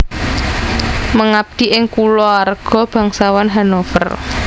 Mengabdi ing Kuluarga Bangsawan Hannover